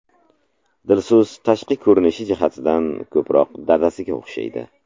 Dilso‘z tashqi ko‘rinishi jihatdan ko‘proq dadasiga o‘xshaydi.